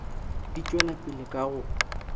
di tšwela pele ka go